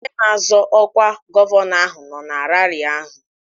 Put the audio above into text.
Onye na-azọ ọkwa gọvanọ ahụ nọ na raarị ahụ